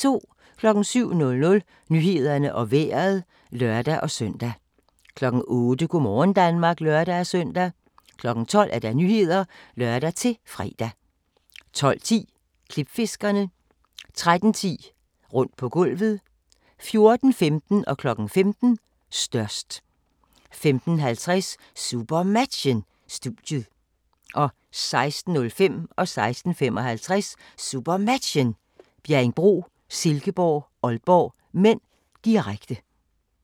07:00: Nyhederne og Vejret (lør-søn) 08:00: Go' morgen Danmark (lør-søn) 12:00: Nyhederne (lør-fre) 12:10: Klipfiskerne 13:10: Rundt på gulvet 14:15: Størst 15:00: Størst 15:50: SuperMatchen: Studiet 16:05: SuperMatchen: Bjerringbro-Silkeborg - Aalborg (m), direkte 16:55: SuperMatchen: Bjerringbro-Silkeborg - Aalborg (m), direkte